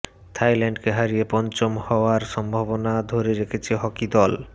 থাইল্যান্ডকে হারিয়ে পঞ্চম হওয়ার সম্ভাবনা ধরে রেখেছে হকি দল